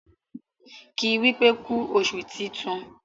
ki wípé ku oṣù tintun!